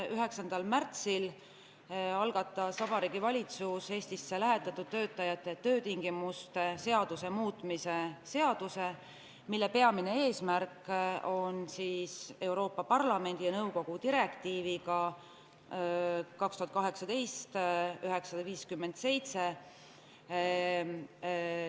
9. märtsil algatas Vabariigi Valitsus Eestisse lähetatud töötajate töötingimuste seaduse muutmise seaduse eelnõu, mille peamine eesmärk on viia meie seadus kooskõlla Euroopa Parlamendi ja nõukogu direktiiviga 2018/957.